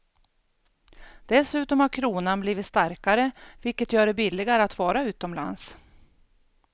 Dessutom har kronan blivit starkare vilket gör det billigare att vara utomlands.